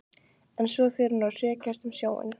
En svo fer hún að hrekjast um sjóinn.